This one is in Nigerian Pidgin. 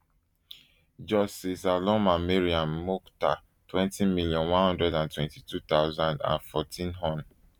justice aloma mariam mukhtar twenty million, one hundred and twenty-two thousand and fourteen hon